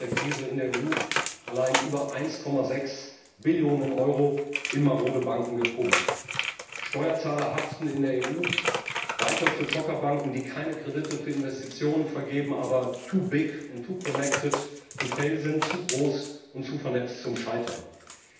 Wir haben seit der Krise in der EU allein über 1,6 Billionen Euro in marode Banken gepumpt. Steuerzahler haften in der EU weiter für Zockerbanken, die keine Kredite für Investitionen vergeben, aber und sind, zu groß und zu vernetzt, als dass sie scheitern dürften.